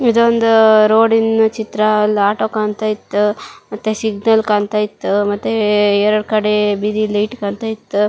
ಇದೊಂದು ರೋಡಿನ ಚಿತ್ರ ಅಲ್ಲ ಆಟೋ ಕಾಣತ್ತಾ ಇತ್ತು ಮತ್ತೆ ಸಿಗ್ನಲ್ ಕಾಣತ್ತಾ ಇತ್ತು ಮತ್ತೆ ಎರಡ ಕಡೆ ಬೀದಿ ಲೈಟ್ ಕಾಣತ್ತಾ ಇತ್ತು.